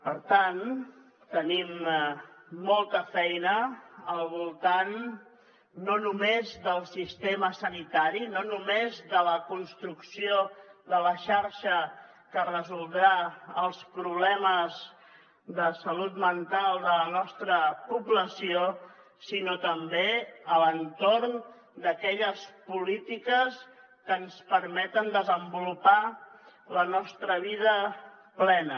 per tant tenim molta feina al voltant no només del sistema sanitari no només de la construcció de la xarxa que resoldrà els problemes de salut mental de la nostra població sinó també a l’entorn d’aquelles polítiques que ens permeten desenvolupar la nostra vida plena